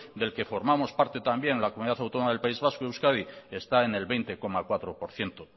del que formamos parte también en la comunidad autónoma del país vasco euskadi está en el veinte coma cuatro por ciento